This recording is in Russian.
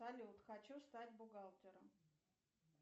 салют хочу стать бухгалтером